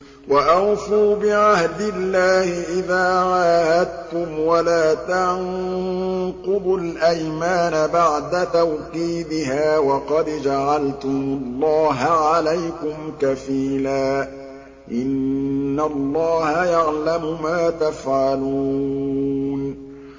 وَأَوْفُوا بِعَهْدِ اللَّهِ إِذَا عَاهَدتُّمْ وَلَا تَنقُضُوا الْأَيْمَانَ بَعْدَ تَوْكِيدِهَا وَقَدْ جَعَلْتُمُ اللَّهَ عَلَيْكُمْ كَفِيلًا ۚ إِنَّ اللَّهَ يَعْلَمُ مَا تَفْعَلُونَ